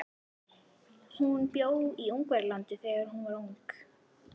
Hún bjó í Ungverjalandi þegar hún var ung.